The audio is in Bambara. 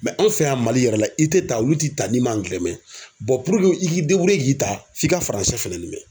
an fɛ yan Mali yɛrɛ la i tɛ ta olu t'i ta n'i man angilɛ mɛ puruke i k'i k'i ta f'i ka faransɛ fɛnɛ mɛn.